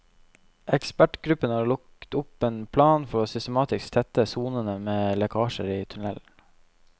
Ekspertgruppen har lagt opp en plan for systematisk å tette sonene med lekkasjer i tunnelen.